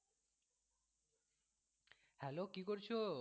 Hello কি করছো?